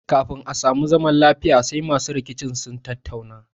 Kafin a sami zamar lafiya sai masu rikicin sun tattauna